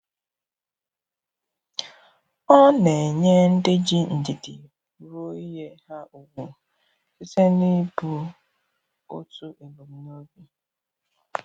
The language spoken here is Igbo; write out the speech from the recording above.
Ọ na enye ndị ji ndidi rụọ ìhè ha ùgwù, site n’ibu otu ebumnobi